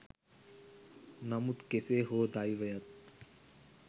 නමුත් කෙසේ හෝ දෛවයත්